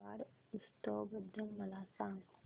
मेवाड उत्सव बद्दल मला सांग